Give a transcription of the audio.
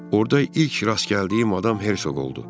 Orda ilk rast gəldiyim adam Hersoq oldu.